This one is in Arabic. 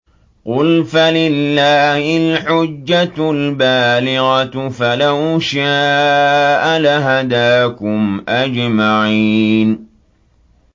قُلْ فَلِلَّهِ الْحُجَّةُ الْبَالِغَةُ ۖ فَلَوْ شَاءَ لَهَدَاكُمْ أَجْمَعِينَ